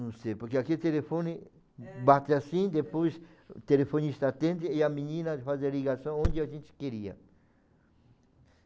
Não sei, porque aqui telefone bate assim, depois telefonista atende e a menina faz a ligação onde a gente queria.